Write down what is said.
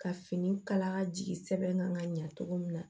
Ka fini kala jigi sɛbɛn kan ka ɲa cogo min na